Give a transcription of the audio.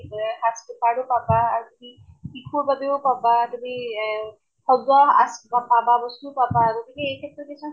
যে সাজপাৰো পাবা, আৰু শি শিশুৰ বাবেও পাবা, তুমি এহ সজোৱা আছ বস্তু পাবা, গতিকে এই ক্ষেত্ৰত কিছুমান